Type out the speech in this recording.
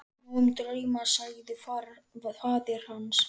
Nóg um drauma, sagði faðir hans.